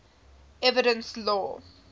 evidence law